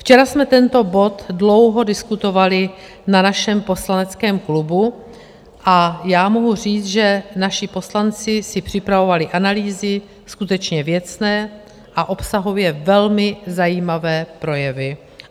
Včera jsme tento bod dlouho diskutovali na našem poslaneckém klubu a já mohu říct, že naši poslanci si připravovali analýzy skutečně věcné a obsahově velmi zajímavé projevy.